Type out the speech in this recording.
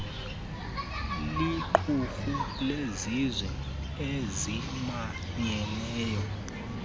liqumrhu lezizwe ezimanyeneyo